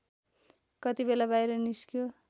कतिबेला बाहिर निस्क्यो